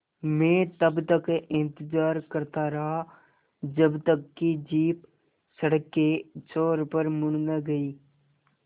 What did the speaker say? मैं तब तक इंतज़ार करता रहा जब तक कि जीप सड़क के छोर पर मुड़ न गई